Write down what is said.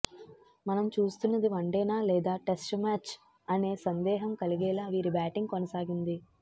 మనం చూస్తున్నది వన్డేనా లేదా టెస్ట్ మ్యాచ్ అనే సందేహం కలిగేలా వీరి బ్యాటింగ్ కొనసాగింది